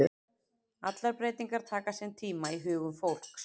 Allar breytingar taka sinn tíma í hugum fólks.